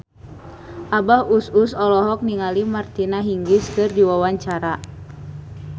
Abah Us Us olohok ningali Martina Hingis keur diwawancara